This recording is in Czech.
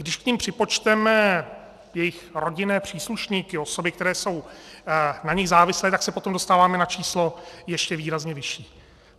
Když k nim připočteme jejich rodinné příslušníky, osoby, které jsou na nich závislé, tak se potom dostáváme na číslo ještě výrazně vyšší.